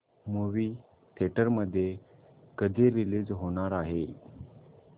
movie theatre मध्ये कधी release होणार आहे